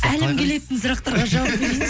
әлім келетін сұрақтарға жауап